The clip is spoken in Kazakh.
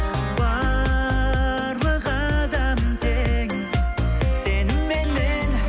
барлық адам тең сеніменен